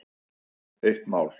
Eitt mál.